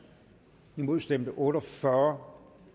imod stemte otte og fyrre